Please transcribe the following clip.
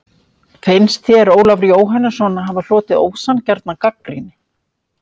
Finnst þér Ólafur Jóhannesson hafa hlotið ósanngjarna gagnrýni?